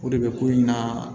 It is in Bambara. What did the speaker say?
O de bɛ ko in na